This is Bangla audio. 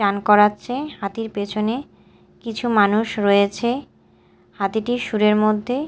স্নান করাচ্ছে হাতির পেছনে কিছু মানুষ রয়েছে হাতিটির শুঁড়ের মধ্যে--